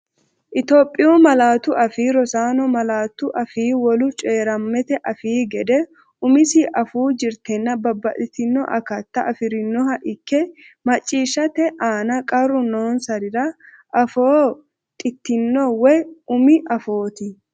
Itophiyu Malaatu Afii Roso Malaatu afii wolu coyi’rammete afii gede umisi afuu jirtenna babbaxxiti- akatta afi’rinoha ikke macciishshate aana qarru noonsarira afoo dhitino woy umi afooti.